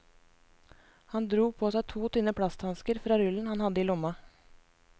Han dro på seg to tynne plasthansker fra rullen han hadde i lomma.